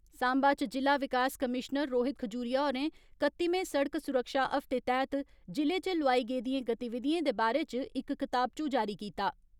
साम्बा च जिला विकास कमीशनर रोहित खजूरिया होरें कत्तिमें सड़क सुरक्षा हफ्ते तैहत जि'ले च लोआई गेदियें गतिविधियें दे बारै च इक कताबचू जारी कीता।